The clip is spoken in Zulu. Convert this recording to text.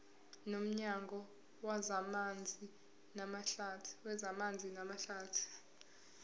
nomnyango wezamanzi namahlathi